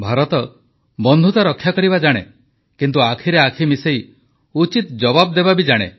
ଭାରତ ବନ୍ଧୁତା ରକ୍ଷା କରିବା ଜାଣେ କିନ୍ତୁ ଆଖିରେ ଆଖି ମିଶେଇ ଉଚିତ ଜବାବ ଦେବା ବି ଜାଣେ